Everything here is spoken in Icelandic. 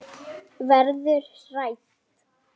Verður hrædd.